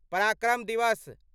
पराक्रम दिवस